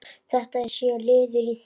Þetta sé liður í því.